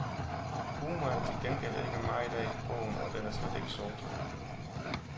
Humor er der til gengæld ikke meget af i bogen, og den er slet ikke sort.